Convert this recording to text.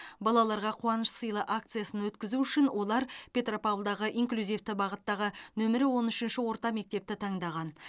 балаларға қуаныш сыйла акциясын өткізу үшін олар петропавлдағы инклюзивті бағыттағы нөмірі он үшінші орта мектепті таңдаған